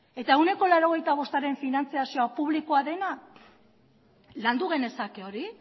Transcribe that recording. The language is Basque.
eta ehuneko laurogeita bostaren finantziazioa publikoa dena landu genezake hori